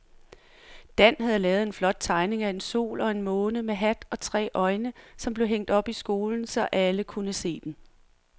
Dan havde lavet en flot tegning af en sol og en måne med hat og tre øjne, som blev hængt op i skolen, så alle kunne se den.